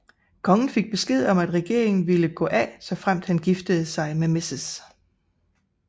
Kongen fik besked om at regeringen ville gå af såfremt han giftede sig med Mrs